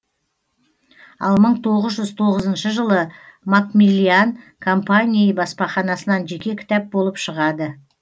ал мың тоғыз жүз тоғызыншы жылы макмиллиан компании баспаханасынан жеке кітап болып шығады